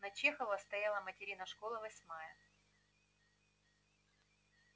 на чехова стояла материна школа восьмая